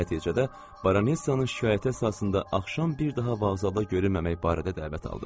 Nəticədə Baronessanın şikayəti əsasında axşam bir daha vağzala görünməmək barədə dəvət aldı.